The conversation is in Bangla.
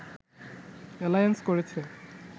অ্যালায়েন্স করেছে